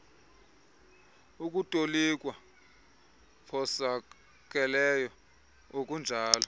ukutolikwa phosakeleyo okunjalo